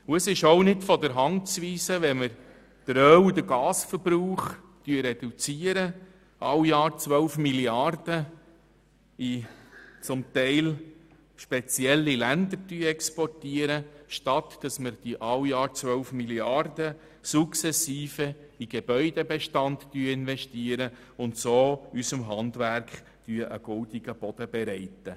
Zudem können wir sukzessive jedes Jahr 12 Mrd. Franken in den Gebäudebestand investieren und so unserem Handwerk einen goldenen Boden bereiten, wenn man den Öl- oder Gasverbrauch reduziert, statt diesen Betrag in teilweise spezielle Länder zu exportieren.